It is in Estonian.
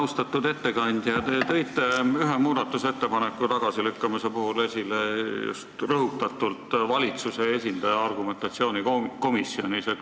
Austatud ettekandja, te tõite ühe muudatusettepaneku tagasilükkamise puhul rõhutatult esile just valitsuse esindaja argumentatsiooni komisjonis.